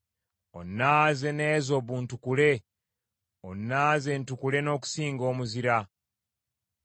Onnaaze n’ezobu ntukule onnaaze ntukule n’okusinga omuzira.